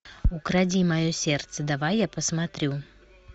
укради мое сердце давай я посмотрю